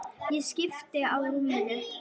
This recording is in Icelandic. Ég skipti á rúminu.